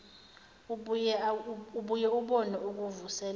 ubuye ubone ukuvuselela